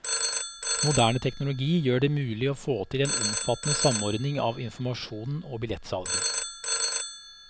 Moderne teknologi gjør det mulig å få til en omfattende samordning av informasjonen og billettsalg.